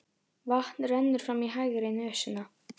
Vatn rennur fram í hægri nösina.